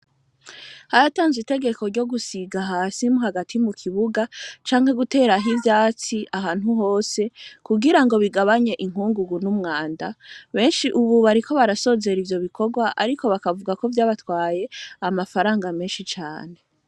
Haratanzwe itegeko ryo gusiga hasimu hagati mu kibuga canke gutera aho ivyatsi ahantu hose kugira ngo bigabanye inkungugu n'umwanda benshi ububariko barasozera ivyo bikorwa, ariko bakavuga ko vyabatwaye amafaranga menshi cane.